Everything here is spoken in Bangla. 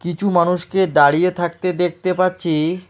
কিছু মানুষকে দাঁড়িয়ে থাকতে দেখতে পাচ্ছি।